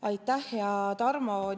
Aitäh, hea Tarmo!